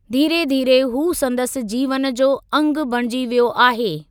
धीरे धीरे हू संदसि जीवन जो अंगु बणिजी वियो आहे।